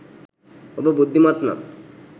ඔබ බුද්ධිමත් නම්